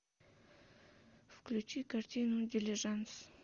включи картину дилижанс